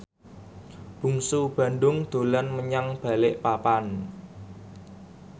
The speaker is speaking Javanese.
Bungsu Bandung dolan menyang Balikpapan